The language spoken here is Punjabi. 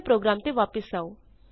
ਆਪਣੇ ਪ੍ਰੋਗਰਾਮ ਤੇ ਵਾਪਸ ਆਉ